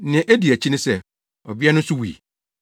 Nea edi akyi ne sɛ, ɔbea no nso wui.